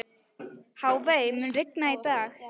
Hafey, mun rigna í dag?